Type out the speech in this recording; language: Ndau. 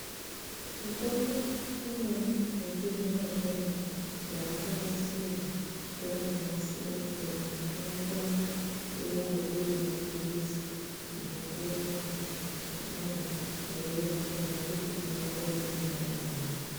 Mitombo imweni yechi zvino zvino yaku nasirwa nge vano nasire mitombo inokone kuve iri mapirizi anopuwe muntu kuti amwe eyi erengerwa kuti unokone kumwe manganai.